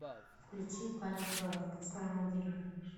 включи паника в почтовом отделении